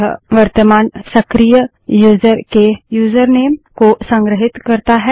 यह वर्तमान सक्रिय यूजर के यूजरनेम को संग्रहीत करता है